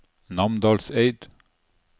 Namdalseid